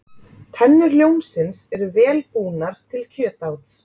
Tennur ljónsins eru vel búnar til kjötáts.